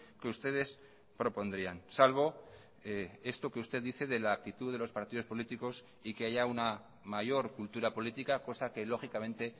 que ustedes propondrían salvo esto que usted dice de la actitud de los partidos políticos y que haya una mayor cultura política cosa que lógicamente